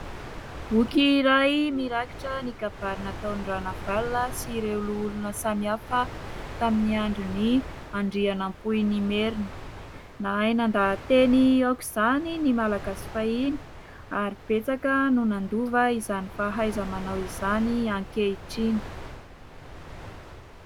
Boky iray mirakitra ny kabary nataon'i Ranavalona sy ireo loholona samy hafa tamin'ny andron'i Andrianampoinimerina. Nahay nandahan-teny aoka izany ny malagasy fahiny ary betsaka no nandova izany fahaiza-manao izany ankehitriny.